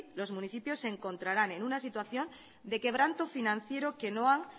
los municipios se encontrarán en una situación de quebranto financiero que no han